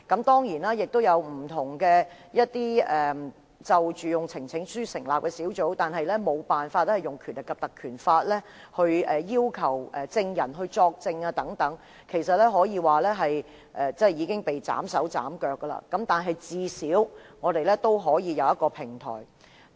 當然，曾有議員提交呈請書以成立不同的專責委員會，但無法引用《條例》賦予的權力要求證人作證，其實可說是已被斬去手腳，但我們最少仍有一個平台。